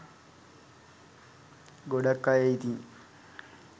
ගොඩක් අය ඉතින්